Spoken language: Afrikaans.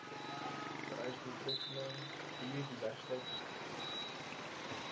vereis doeltreffende biodiversiteitsbestuur